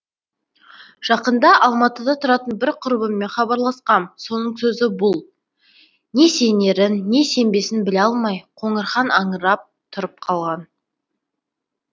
жақында алматыда тұратын бір құрбыммен хабарласқам соның сөзі бұл не сенерін не сенбесін біле алмай қоңырхан аңырап тұрып қалған